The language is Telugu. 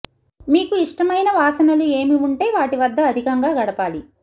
మీకు ఇష్టమైన వాసనలు ఏమి వుంటే వాటి వద్ద అధికంగా గడపాలి